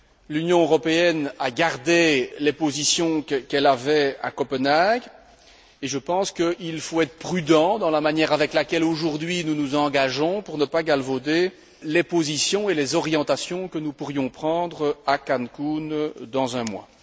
L'Union européenne a gardé les positions qu'elle avait à Copenhague, et je pense qu'il faut être prudent dans la manière avec laquelle, aujourd'hui, nous nous engageons pour ne pas galvauder les positions et les orientations que nous pourrions prendre à Cancun dans un mois.